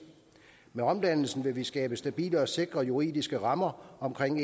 med omdannelsen vil vi skabe stabile og sikre juridiske rammer omkring